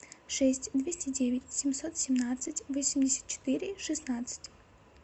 шесть двести девять семьсот семнадцать восемьдесят четыре шестнадцать